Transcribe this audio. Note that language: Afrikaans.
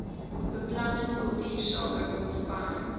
beplanning kultuursake ontspanning